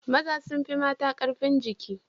Maza sun fi mata ƙarfin jiki.